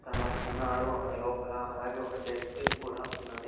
తను ఉన్నాడు ఆ లోపల అలాగే ఒక డస్ట్ బిన్ కూడా ఉన్నది.